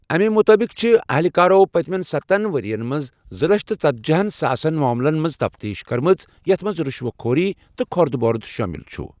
اَمہِ مُطٲبِق چھِ اَہلکارو پٔتۍمٮ۪ن سَتن ؤرۍین منز زٕ لچھ تہٕ ژتجیٖہَن ساسن معاملن ہِنٛز تفتیٖش کٔرمٕژ یَتھ منٛز رُشوت خوری تہٕ كھۄردٕ بۄرد شٲمِل چُھ۔